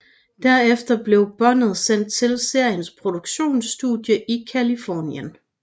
Derefter blev båndet sendt til seriens produktionsstudie i Californien